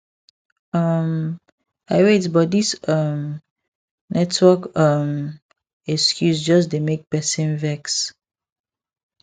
um i wait but this um network um excuse just dey make person vex